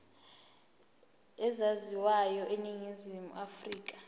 ezaziwayo eningizimu afrika